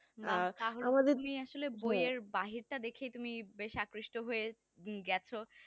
তাহলে তুমি আসল বইয়ের বাহিরটা দেখ তুমি বেশ আকৃষ্ট হয়ে গেছো